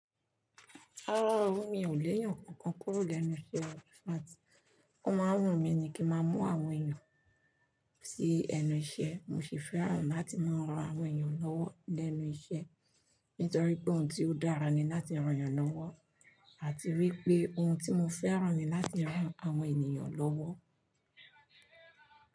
Rárá o, mi ò lè yàn nkankan kúrò lẹ́nu iṣẹ́ o. Ó má ń wù mí ni kí n maa mú àwọn ènìyàn sí ẹnu iṣẹ́, mo sì fẹ́ràn láti máa ran àwọn ènìyàn lọ́wọ́ lẹ́nu iṣẹ́, nítorí pé òhun tí ó dára ni láti ran ènìyàn lọ́wọ́. Àti wípé ohun tí mo fẹ́ràn ni láti ran àwọn ènìyàn lọ́wọ́.